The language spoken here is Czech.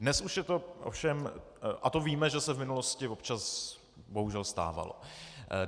Dnes už je to ovšem - a to víme, že se v minulosti občas bohužel stávalo.